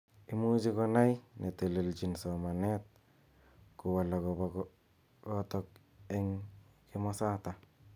Imuch komach netelejin somanet kowal akobo kiotok eng kimosatak.